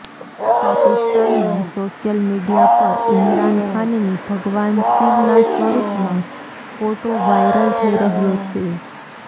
પાકિસ્તાનમાં social media પર ઇમરાન ખાનની ભગવાન શિવના સ્વરૂપમાં ફોટો વાયરલ થઇ રહ્યો છે